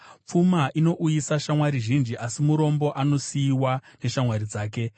Pfuma inouyisa shamwari zhinji, asi murombo anosiyiwa neshamwari dzake.